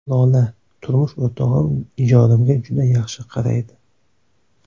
Lola: Turmush o‘rtog‘im ijodimga juda yaxshi qaraydi.